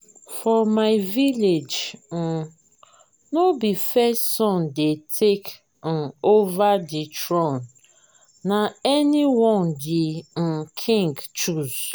for my village um no be first son dey take um over the throne na anyone the um king choose.